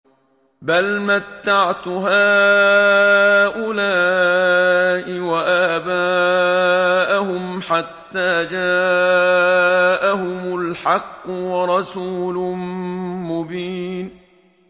بَلْ مَتَّعْتُ هَٰؤُلَاءِ وَآبَاءَهُمْ حَتَّىٰ جَاءَهُمُ الْحَقُّ وَرَسُولٌ مُّبِينٌ